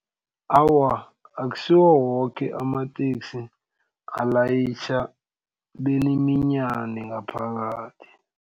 Awa, akusiwo woke amateksi alayitjha beniminyane ngaphakathi.